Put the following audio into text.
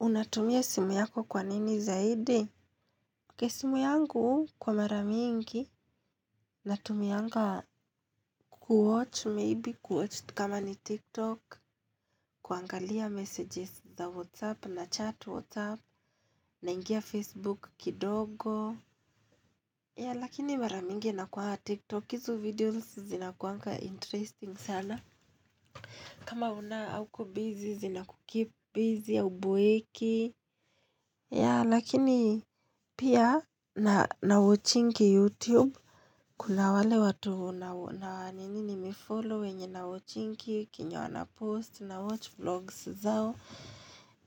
Unatumia simu yako kwa nini zaidi. Kesimu yangu kwa maramingi. Natumia nga kuwatch maybe kuwatch kama ni tiktok. Kuangalia messages za whatsapp na chat whatsapp na ingia facebook kidogo. Ya lakini maramingi na kuaga tiktok izo videos zinakuanga interesting sana. Kama una hauko busy zinaku keep busy ya uboeki. Ya lakini pia na wachingi YouTube. Kuna wale watu na nini nime follow wenye na wachingi kenye wana post na watch vlogs zao.